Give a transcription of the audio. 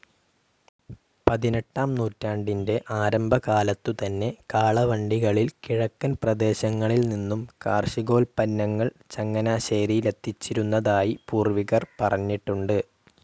പതിനെട്ടാം നൂറ്റാണ്ടിൻ്റെ ആരംഭകാലത്തുതന്നെ കാളവണ്ടികളിൽ കിഴക്കൻ പ്രദേശങ്ങളിൽനിന്നും കാർഷികോൽപന്നങ്ങൾ ചങ്ങനാശേരിയിലെത്തിച്ചിരുന്നതായി പൂർവ്വികർ പറഞ്ഞിട്ടുണ്ട്.